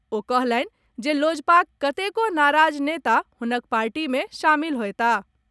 ओ कहलनि जे लोजपाक कतेको नाराज नेता हुनक पार्टी में शामिल होएताह।